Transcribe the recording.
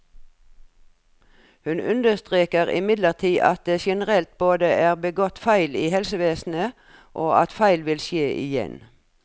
Hun understreker imidlertid at det generelt både er blitt begått feil i helsevesenet, og at feil vil skje igjen.